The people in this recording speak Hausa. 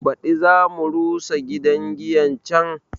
Baɗi za mu rusa gidan giyan can